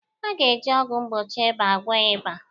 A ga-eji ọgwụ mgbochi ịba gwọọ ịba